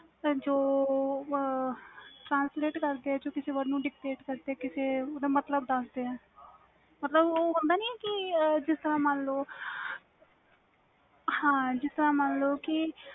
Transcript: ਜੋ translate ਕਰਕੇ ਕਿਸੇ word ਨੂੰ dictate ਕਰਕੇ ਓਹਦਾ ਮਤਬਲ ਦਸ ਦੇ ਵ ਮਨ ਲੋ ਜਿਸ ਤਰਾਂ